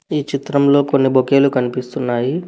ఈ చిత్రంలో కొన్ని బొకేలు కనిపిస్తున్నాయి.